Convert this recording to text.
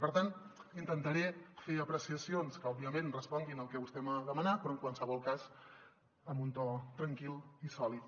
per tant intentaré fer apreciacions que òbviament responguin al que vostè m’ha demanat però en qualsevol cas amb un to tranquil i sòlid